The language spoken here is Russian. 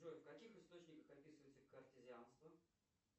джой в каких источниках описывается картезианство